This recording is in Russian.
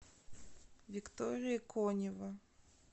виктория конева